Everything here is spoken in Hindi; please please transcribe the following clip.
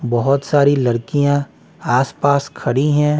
बहुत सारी लड़कियां आस पास खड़ी हैं।